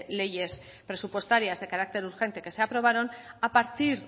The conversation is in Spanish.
leyes presupuestarias de carácter urgente que se aprobaron a partir